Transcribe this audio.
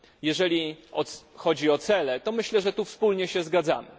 Jeżeli chodzi o cele, to myślę, że tu wspólnie się zgadzamy.